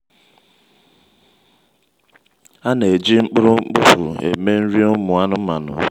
a na-eji mkpụrụ mkpofu eme nri ụmụ anụmanụ.